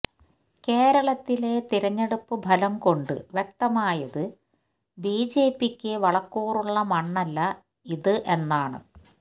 കേരളത്തിലെ തിരഞ്ഞെടുപ്പ് ഫലം കൊണ്ട് വ്യക്തമായത് ബിജെപിക്ക് വളക്കൂറുള്ള മണ്ണല്ല ഇത് എന്നാണ്